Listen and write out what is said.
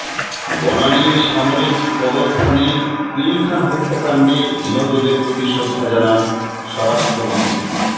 বনানীর সামরিক কবরস্থানে পিলখানা হত্যাকাণ্ডে নিহতদের প্রতি শ্রদ্ধা জানান স্বরাষ্ট্রমন্ত্রী